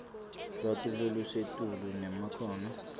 lwati lolusetulu nemakhono